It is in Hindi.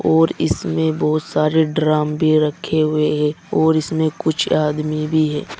और इसमें बहुत सारे ड्रम भी रखे हुए हैं और इसमें कुछ आदमी भी हैं।